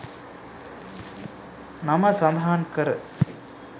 නම සඳහන්කර